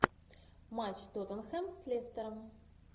матч тоттенхэм с лестером